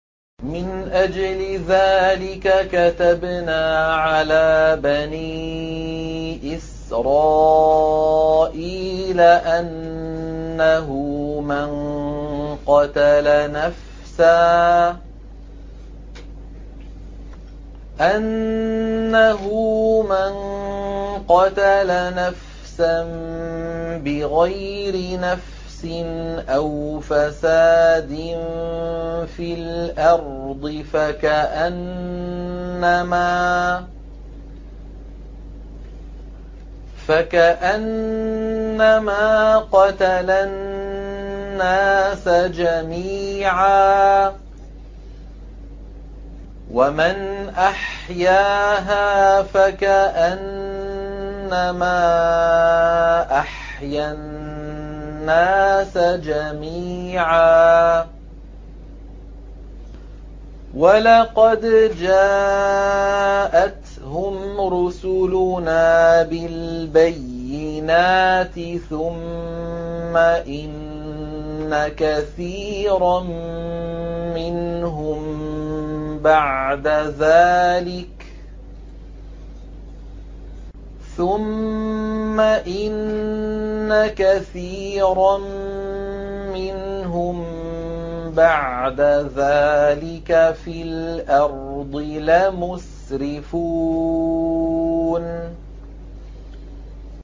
مِنْ أَجْلِ ذَٰلِكَ كَتَبْنَا عَلَىٰ بَنِي إِسْرَائِيلَ أَنَّهُ مَن قَتَلَ نَفْسًا بِغَيْرِ نَفْسٍ أَوْ فَسَادٍ فِي الْأَرْضِ فَكَأَنَّمَا قَتَلَ النَّاسَ جَمِيعًا وَمَنْ أَحْيَاهَا فَكَأَنَّمَا أَحْيَا النَّاسَ جَمِيعًا ۚ وَلَقَدْ جَاءَتْهُمْ رُسُلُنَا بِالْبَيِّنَاتِ ثُمَّ إِنَّ كَثِيرًا مِّنْهُم بَعْدَ ذَٰلِكَ فِي الْأَرْضِ لَمُسْرِفُونَ